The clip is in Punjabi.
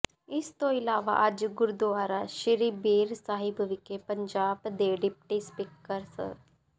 ਇਸ ਤੋਂ ਇਲਾਵਾ ਅੱਜ ਗੁਰਦੁਆਰਾ ਸ੍ਰੀ ਬੇਰ ਸਾਹਿਬ ਵਿਖੇ ਪੰਜਾਬ ਦੇ ਡਿਪਟੀ ਸਪੀਕਰ ਸ